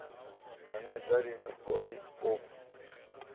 hanedza lini o ri o